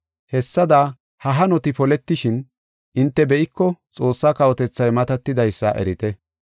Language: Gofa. Hessada ha hanoti poletishin hinte be7iko Xoossaa kawotethay matatidaysa erite.